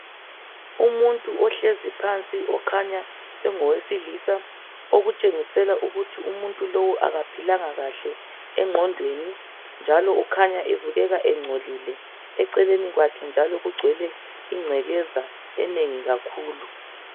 Umuntu ohlezi phansi okhanya engowesilisa okutshengisela ukuthi umuntu lo akaphilanga kahle engqondweni njalo ukhanya ebukeka ingcolile eceleni kwakhe njalo kugcwele ingcekeza enengi kakhulu